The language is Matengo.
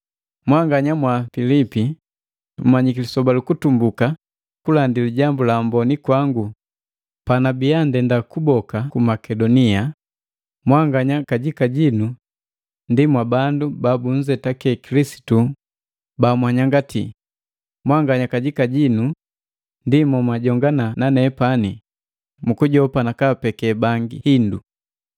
Mwanganya mwa Pilipi mmnyiki lisoba lukutumbuka kulandi Lijambu la Amboni kwangu, panabiya ndenda kuboka ku Makedonia, mwanganya kajika jinu ndi mwabandu babunzetaki Kilisitu bamwanyangatii, mwanganya kajika jinu ndi momwajongana nanepani mukujopa nakaapeke bangi hindu.